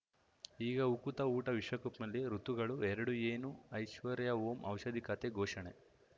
ಈಗ ಉಕುತ ಊಟ ವಿಶ್ವಕಪ್‌ನಲ್ಲಿ ಋತುಗಳು ಎರಡು ಏನು ಐಶ್ವರ್ಯಾ ಓಂ ಔಷಧಿ ಖಾತೆ ಘೋಷಣೆ